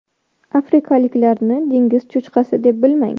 Afrikaliklarni dengiz cho‘chqasi deb bilmang.